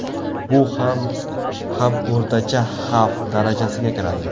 Bu ham ham o‘rtacha xavf darajasiga kiradi.